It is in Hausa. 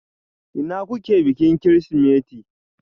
Ina kuke bikin Kirsimeti?